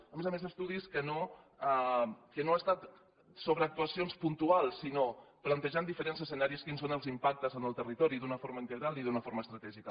a més a més estudis que no han estat sobre actuacions puntuals sinó plantejant diferents escenaris fins a on els impactes en el territori d’una forma integral i d’una forma estratègica